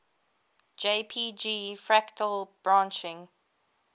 jpg fractal branching